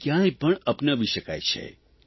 જેને કયાંય પણ અપનાવી શકાય છે